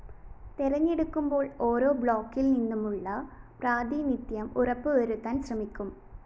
തെരഞ്ഞെടുക്കുമ്പോള്‍ ഓരോ ബ്ലോക്കില്‍നിന്നുമുള്ള പ്രാതിനിധ്യം ഉറപ്പുവരുത്താന്‍ ശ്രമിക്കും